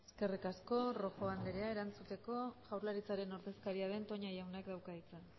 eskerrik asko rojo anderea erantzuteko jaurlaritzaren ordezkaria den toña jaunak dauka hitza